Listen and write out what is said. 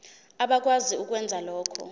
abakwazi ukwenza lokhu